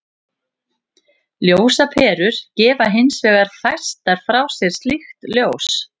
Ljósaperur gefa hins vegar fæstar frá sér slíkt ljós.